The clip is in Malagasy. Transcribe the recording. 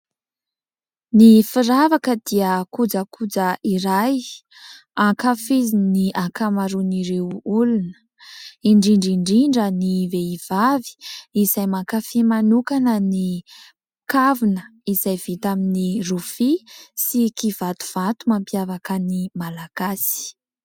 Ny firavaka dia kojakoja iray ankafizin'ny ankamaroan'ireo olona indrindra indrindra ny vehivavy izay mankafia manokana ny kavina izay vita amin'ny rofia sy kivatovato mampiavaka ny Malagasy.